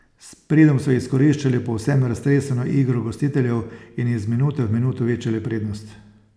S pridom so izkoriščali povsem raztreseno igro gostiteljev in iz minute v minuto večali prednost.